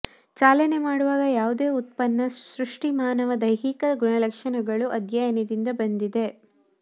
ಚಾಲನೆ ಮಾಡುವಾಗ ಯಾವುದೇ ಉತ್ಪನ್ನ ಸೃಷ್ಟಿ ಮಾನವ ದೈಹಿಕ ಗುಣಲಕ್ಷಣಗಳು ಅಧ್ಯಯನದಿಂದ ಬಂದಿದೆ